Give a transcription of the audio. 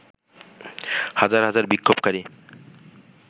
হাজার হাজার বিক্ষোভকারী